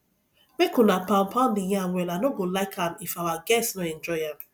make una pound pound the yam well i no go like am if our guests no enjoy am